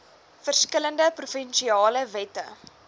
verskillende provinsiale wette